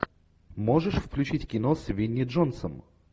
можешь включить кино с винни джонсом